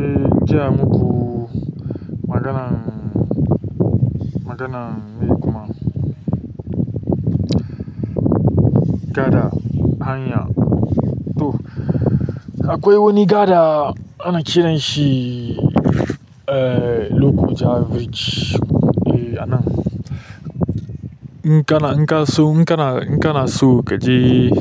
Eh, jiya muku maganan, maganan me kuma? Gada, hanya. To akwai wani gada ana kiranshi lokoja bridge. Eh anan, in kana, in kana so, in kana, in kana so kaje,